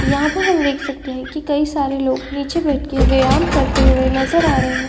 यहाँ पर हम देख सकते हैं की कई सारे लोग नीचे बैठकर व्यायाम करते हुए नजर आ रहे हैं।